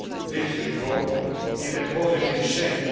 this report into a positive shape.